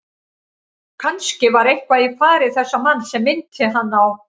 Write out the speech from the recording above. Kannske var eitthvað í fari þessa manns sem minnti hann á